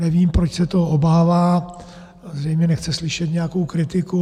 Nevím, proč se toho obává, zřejmě nechce slyšet nějakou kritiku.